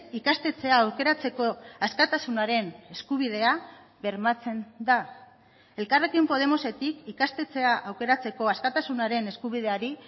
ikastetxea aukeratzeko askatasunaren eskubidea bermatzen da elkarrekin podemosetik ikastetxea aukeratzeko askatasunaren eskubideari